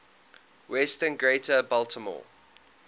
western greater baltimore